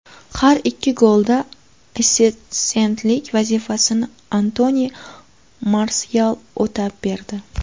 Har ikki golda assistentlik vazifasini Antoni Marsyal o‘tab berdi.